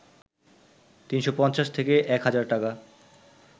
৩৫০ থেকে ১ হাজার টাকা